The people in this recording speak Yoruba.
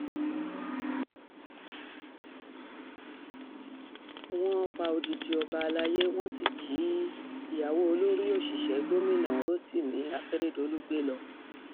wọ́n um pa odidi ọba alayé wọ́n sì jí um ìyàwó olórí òṣìṣẹ́ gómìnà rotimi akeredolu gbé lọ